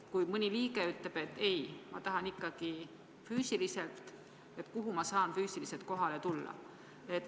Kui aga mõni liige ütleb, et ma tahan füüsiliselt kohale tulla, ja küsib, kuhu ma saan füüsiliselt kohale tulla?